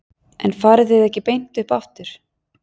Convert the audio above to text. En farið þið ekki beint upp aftur?